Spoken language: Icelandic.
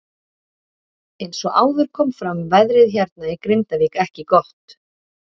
Eins og áður kom fram veðrið hérna í Grindavík ekki gott.